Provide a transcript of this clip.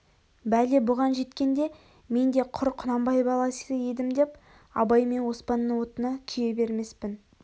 бәле бұған жеткенде мен де құр құнанбай баласы едім деп абай мен оспанның отына күйе бермеспін